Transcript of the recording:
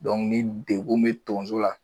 ni degun bi tonso la